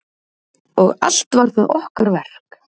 Og allt var það okkar verk.